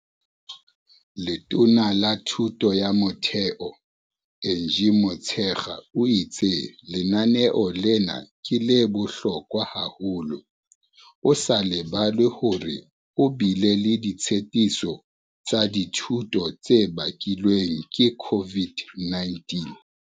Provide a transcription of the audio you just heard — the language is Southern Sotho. Letona la Thuto ya Motheo Angie Motshekga o itse lenaneo lena ke la bohlokwa haholo, ho sa lebalwe hore ho bile le ditshetiso tsa dithuto tse bakilweng ke COVID-19.